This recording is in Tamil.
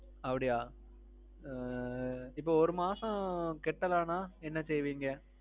அப்பிடியா. ஆ. இப்போ ஒரு மாசம் கட்டலனா என்ன செய்வீங்க?